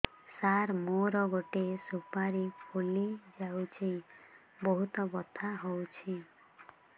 ସାର ମୋର ଗୋଟେ ସୁପାରୀ ଫୁଲିଯାଇଛି ବହୁତ ବଥା ହଉଛି